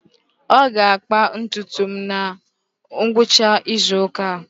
Ọ ga-akpa ntutu m na ngwụcha izu ụka a.